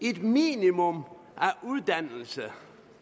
et minimum af uddannelse